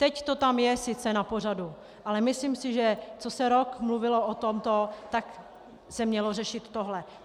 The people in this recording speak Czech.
Teď to tam je sice na pořadu, ale myslím si, že jak se rok mluvilo o tomto, tak se mělo řešit tohle.